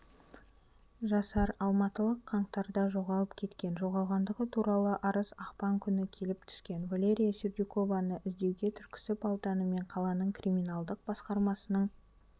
жасар алматылық қаңтарда жоғалып кеткен жоғалғандығы туралы арыз ақпан күні келіп түскен валерия сердюкованы іздеуге түркісіб ауданы мен қаланың криминалдық басқармасының